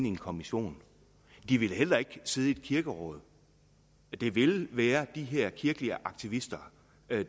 en kommission de vil heller ikke sidde i et kirkeråd det vil være de her kirkelige aktivister